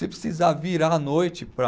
Se precisar virar à noite para